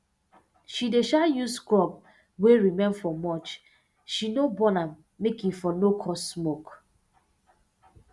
she dey um use crop wey remain for mulch she no burn am make e for no cause smoke